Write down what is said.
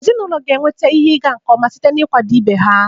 Ezinụlọ ga-enweta ihe ịga nke ọma site na ịkwado ibe ha.